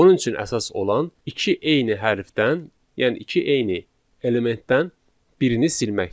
Onun üçün əsas olan iki eyni hərfdən, yəni iki eyni elementdən birini silməkdir.